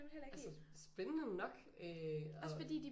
Altså spændende nok øh og